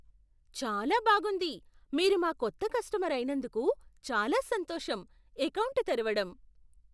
చాలా బాగుంది! మీరు మా కొత్త కస్టమర్ అయినందుకు చాలా సంతోషం. ఎకౌంటు తెరవడం